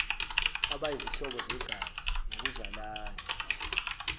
abayizihlobo zegazi ngokuzalana